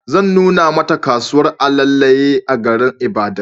Zan nuna Mata kasuwar alayale a garin Ibadan